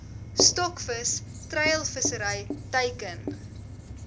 stokvis treilvissery teiken